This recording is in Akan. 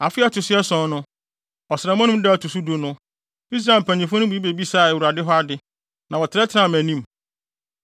Afe a ɛto so ason no, ɔsram anum no da a ɛto so du no, Israel mpanyimfo no mu bi bebisaa Awurade hɔ ade, na wɔtenatenaa mʼanim.